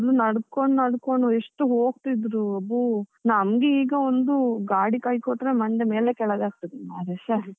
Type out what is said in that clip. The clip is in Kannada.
ನಡ್ಕೊಂಡು ನಡ್ಕೊಂಡು ಎಷ್ಟು ಹೋಗ್ತಿದ್ರು, ಒಬೋ ನಮಗೆ ಈಗ ಒಂದು ಗಾಡಿ ಕೈ ಕೊಟ್ರೆ ಮಂಡೆ ಮೇಲೆ ಕೆಳಗೆ ಆಗ್ತಾದೆ ಮಾರ್ರೆ ಷೆ.